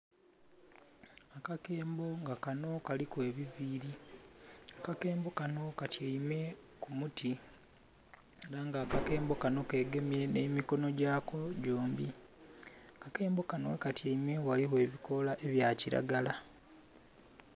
Akakembo nga kano kaliku ebiviiri. Akakembo kano katyaime ku muti ela nga akakembo kano kegemye nh'emikono gyako gyombi. Akakembo kano ghekatyaime ghaligho ebikoola ebya kilagala.